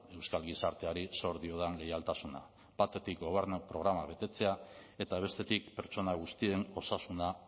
euskal gizarteari zor diodan leialtasuna batetik gobernu programa betetzea eta bestetik pertsona guztien osasuna